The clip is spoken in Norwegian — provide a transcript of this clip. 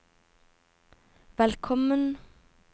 velkommen